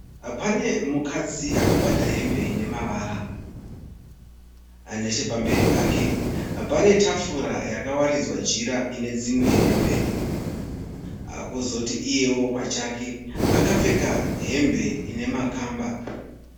Pane mukadzi akabata hembe ine mavara. Nechepamberi pake pane tafura yakawaridzwa jira ine dzimwe hembe. Kozoti iyeo pachake akapfeka hembe ine makamba.